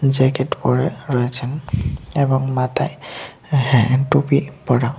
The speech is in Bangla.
জ্যাকেট পরে রয়েছেন এবং মাথায় হ্যাঁ টুপি পরা।